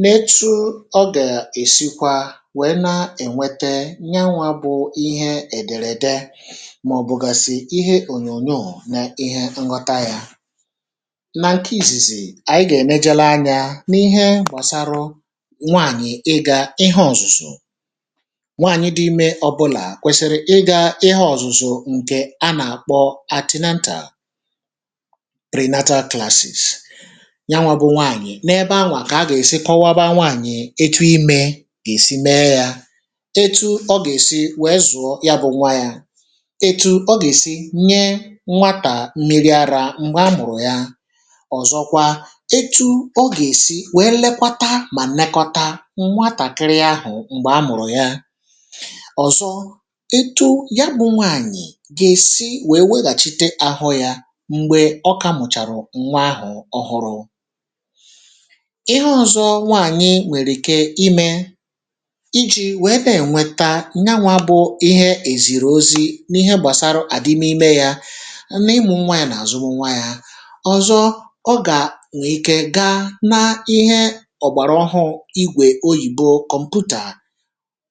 n’etụ ọ ga-esikwa wee na-enwete nyawa bụ ihe ederede ma ọ̀ bụ̀gasì ihe ọ̀nyọ̀nyọ̀ na ihe nghọta ya. Na nke ìzìzì anyị ga-enejelụ anya n’ihe gbasarụ nwaanyị̀ ịga ihe ọ̀zụ̀zụ̀. Nwaanyị̀ dị ime ọbụla kwesiri ịga ihe ọ̀zụ̀zụ̀ ǹke a na-akpọ atinantal, prinatal klaasìs ya nwa bụ nwaanyị̀ n’ebe anwa ka a ga-esikọwaba nwaanyị̀ etụ ime ga-esi mee ya etụ ọ ga-esi wee zụ̀ọ ya bụ nwa ya etụ ọ ga-esi nye nwata mmiri ara m̀gbe a mụ̀rụ̀ ya. Ọ̀zọ kwa etụ ọ ga-esi wee lekwata ma nnekọta nwatakịrị ahụ̀ m̀gbe a mụ̀rụ̀ ya. Ọ̀zọ etụ ya bụ nwaanyị̀ ga-esi wee weghachite ahọ ya m̀gbe ọka mụ̀charụ̀ nwa ahụ̀ ọhụrụ. Ihe ọ̇zọ̇ nwaanyị nwere ike ime iji̇ wee ne enweta nyawa bụ ihe ezìrì ọzi̇ n’ihe gbasara adịm ime ya n’ịmụ̇ nwa ya na azụm nwa ya. Ọzo ọ ga nwee ike gaa na ihe ọ̀gbara ọhụụ igwe ọyìbọ kọmpụtaa